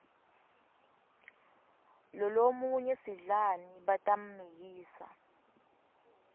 lolomunye sidlani batammikisa